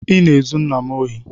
I na-ezu nna m ohi